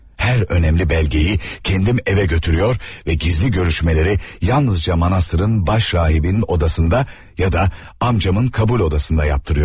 Hər önəmli bəlgəyi kendim evə götürüyor və gizli görüşmələri yalnızca monastırın baş rahibin odasında ya da amcamın qabul odasında yaptırıyordum.